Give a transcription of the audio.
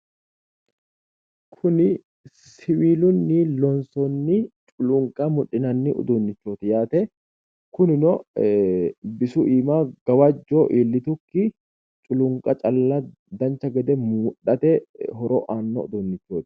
Kuni siwiilunni loonsoonni culuunqa mudhinanni uduunnichooti yaate kunino ee bisu iima gawajjo iillitukki culuunqa calla dancha gede mudhate horo aanno uduunnichooti